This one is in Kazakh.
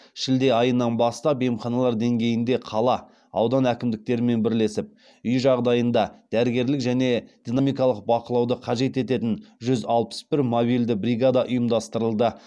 шілде айынан бастап емханалар деңгейінде қала аудан әкімдіктерімен бірлесіп үй жағдайында дәрігерлік және дінамикалық бақылауды қажет ететін жүз алпыс бір мобильді бригада ұйымдастырылды